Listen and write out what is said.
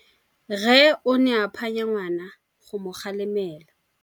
Rre o ne a phanya ngwana go mo galemela.